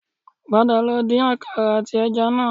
Padà lọ din àkàrà àti ẹja náà